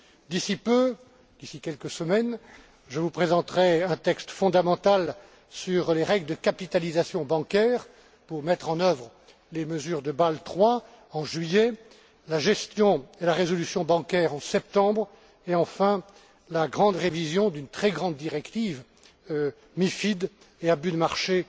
D'ici peu quelques semaines je vous présenterai un texte fondamental sur les règles de capitalisation bancaire nécessaires pour mettre en œuvre les mesures de Bâle III en juillet, la gestion et la résolution bancaire en septembre et enfin la grande révision d'une très grande directive MiFID et abus de marché